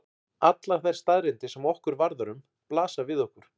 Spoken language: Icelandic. Allar þær staðreyndir sem okkur varðar um blasa við okkur.